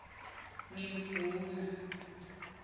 ngimdvuna